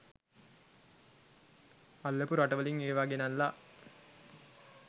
අල්ලපු රටවලින් ඒවා ගෙනල්ල